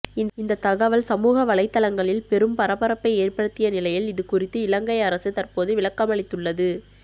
இந்த தகவல் சமூக வலைதளங்களில் பெரும் பரபரப்பை ஏற்படுத்திய நிலையில் இது குறித்து இலங்கை அரசு தற்போது விளக்கமளித்துள்ளது